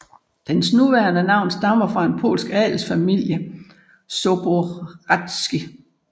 Dens nuværende navn stammer fra en polsk adelsfamilie af Zborowscy